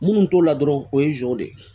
Minnu t'o la dɔrɔn o ye de ye